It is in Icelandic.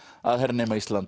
að hernema Ísland